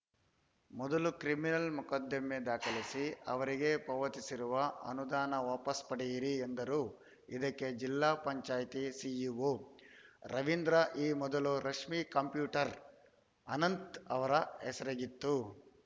ಮೊದಲು ಕ್ರಿಮಿನಲ್‌ ಮೊಕದ್ದಮೆ ದಾಖಲಿಸಿ ಅವರಿಗೆ ಪಾವತಿಸಿರುವ ಅನುದಾನ ವಾಪಸ್‌ ಪಡೆಯಿರಿ ಎಂದರು ಇದಕ್ಕೆಜಿಲ್ಲಾ ಪಂಚಾಯಿತಿ ಸಿಇಒ ರವೀಂದ್ರ ಈ ಮೊದಲು ರಶ್ಮಿ ಕಂಪ್ಯೂಟರ್‌ ಅನಂತ್‌ ಅವರ ಹೆಸರಿಗಿತ್ತು